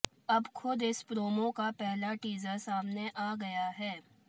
अब खुद इस प्रोमो का पहला टीजर सामने आ गया है